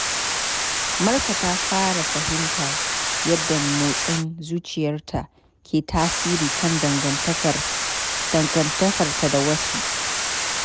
Marka ta fara fahimtar yadda motsin zuciyarta ke tasiri kan dangantakarta da wasu.